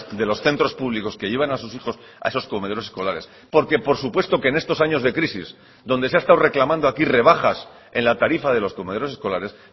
de los centros públicos que llevan a sus hijos a esos comedores escolares porque por supuesto que en estos años de crisis donde se ha estado reclamando aquí rebajas en la tarifa de los comedores escolares